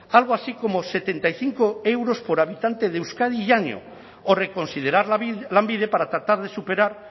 algo así como setenta y cinco euros por habitante de euskadi y año o reconsiderar lanbide para tratar de superar